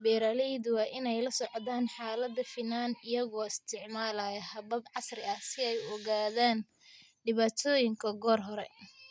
Beeraleydu waa inay la socdaan xaaladda finan iyagoo isticmaalaya habab casri ah si ay u ogaadaan dhibaatooyinka goor hore.